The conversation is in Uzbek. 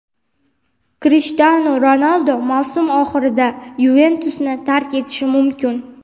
"Krishtianu Ronaldu mavsum oxirida "Yuventus"ni tark etishi mumkin.